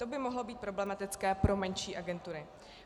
To by mohlo být problematické pro menší agentury.